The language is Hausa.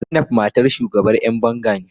Zainab matar shugaban yan banga.